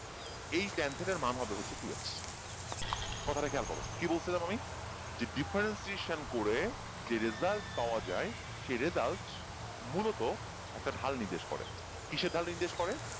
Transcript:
এই ten theta এর ম্যান হবে হচ্ছে two X কথাটা খেয়াল করো কি বলছিলাম আমি যে differentiation করে যে result পাওয়া যায় সেই result মূলত একটা ঢাল নির্দেশ করে কিসের ঢাল নির্দেশ করে